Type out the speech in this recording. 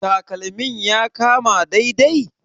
Takalmin ya maka dai dai?